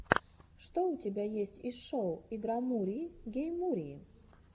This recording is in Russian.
что у тебя есть из шоу игромурии гейммурии